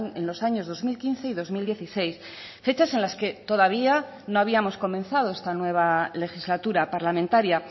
en los años dos mil quince y dos mil dieciséis fechas en las que todavía no habíamos comenzado esta nueva legislatura parlamentaria